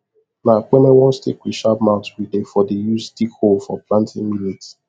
na kpeme one stick with sharp mouth we dey for the use dig hole for planting millet